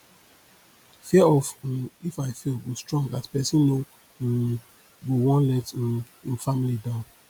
fear of um if i fail go strong as pesin no um go wan let um im family down